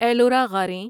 Ellora غاریں